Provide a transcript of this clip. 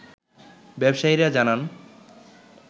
ব্যবসায়ীরা জানান